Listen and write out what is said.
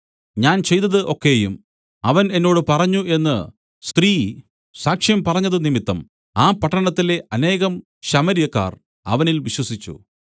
ഞാൻ ചെയ്തതു ഒക്കെയും അവൻ എന്നോട് പറഞ്ഞു എന്നു സ്ത്രീ സാക്ഷ്യം പറഞ്ഞതുനിമിത്തം ആ പട്ടണത്തിലെ അനേകം ശമര്യക്കാർ അവനിൽ വിശ്വസിച്ചു